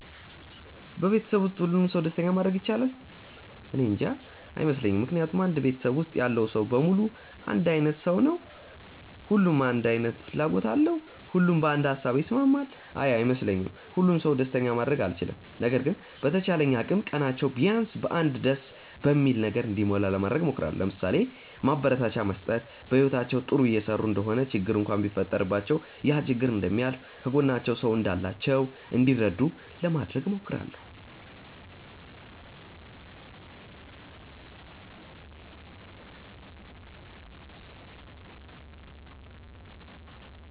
በቤተሰብ ውስጥ ሁሉንም ሰው ደስተኛ ማድረግ ይቻላል? እኔንጃ። አይመስለኝም ምክንያቱም አንድ ቤተሰብ ውስጥ ያለው ሰው በሙሉ አንድ አይነት ሰው ነው? ሁሉም አንድ አይነት ፍላጎት አለው? ሁሉም በአንድ ሃሳብ ይስማማል? አይ አይመስለኝም። ሁሉንም ሰው ደስተኛ ማድረግ አልችልም። ነገር ግን በተቻለኝ አቅም ቀናቸው ቢያንስ በ አንድ ደስ በሚል ነገር እንዲሞላ ለማድረግ እሞክራለው። ለምሳሌ፦ ማበረታቻ መስጠት፣ በህይወታቸው ጥሩ እየሰሩ እንደሆነ ችግር እንኳን ቢፈጠረባቸው ያ ችግር እንደሚያልፍ፣ ከጎናቸው ሰው እንዳላቸው እንዲረዱ ለማድረግ እሞክራለው።